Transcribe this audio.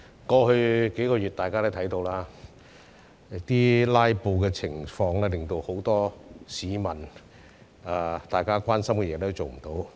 過去數月，大家也看到，"拉布"情況令很多市民十分關心的事項也無法處理。